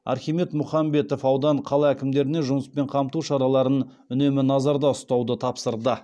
архимед мұхамбетов аудан қала әкімдеріне жұмыспен қамту шараларын үнемі назарда ұстауды тапсырды